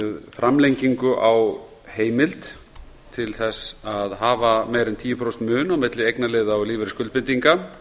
framlengingu á heimild til að hafa meira en tíu prósent mun á milli eignarliða og lífeyrisskuldbindinga